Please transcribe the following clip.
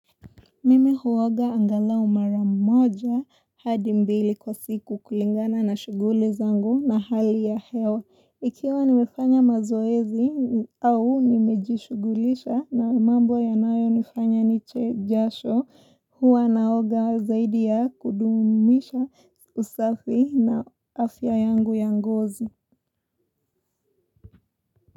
Mimi huoga angala maramoja hadi mbili kwa siku kulingana na shughuli zangu na hali ya hewa. Ikiwa nimefanya mazoezi au nimejishughulisha na mambo ya nayo nifanya niche jasho huwa naoga zaidi ya kudumisha usafi na afya yangu ya ngozi.